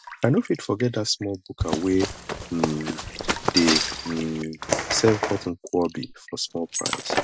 i no fit forget dat small buka wey um dey um serve hot nkwobi for small price